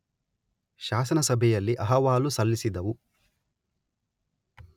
ಶಾಸನಸಭೆಯಲ್ಲಿ ಅಹವಾಲು ಸಲ್ಲಿಸಿದವು.